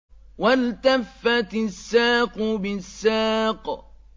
وَالْتَفَّتِ السَّاقُ بِالسَّاقِ